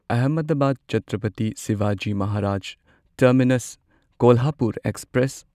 Ahmedabad Chhatrapati Shivaji Maharaj Terminus Kolhapur express